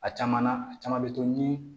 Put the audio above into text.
A caman na a caman bɛ to ni